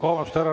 Vabandust!